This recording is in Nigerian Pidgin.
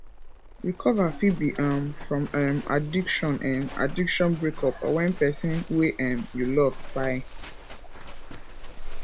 recover fit be um from um addiction um addiction breakup or when person wey um you love kpai